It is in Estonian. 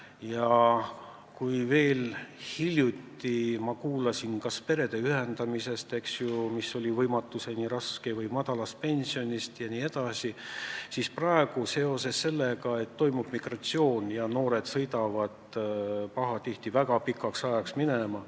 Ja kui ma veel hiljuti kuulsin kurtmist, et perede ühendamine on olnud võimatuseni raske või et pensionid on väikesed, siis praegu kurdetakse muret seoses sellega, et toimub migratsioon ja noored sõidavad pahatihti väga pikaks ajaks minema.